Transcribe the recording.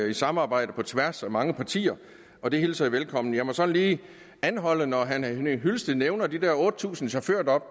i et samarbejde på tværs af mange partier og det hilser jeg velkommen jeg må så lige anholde noget når herre henning hyllested nævner de der otte tusind chaufførjob